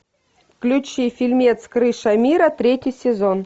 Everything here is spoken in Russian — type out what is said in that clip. включи фильмец крыша мира третий сезон